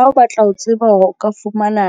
Ha o batla ho tseba hore o ka fumana